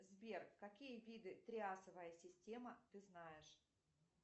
сбер какие виды триасовая система ты знаешь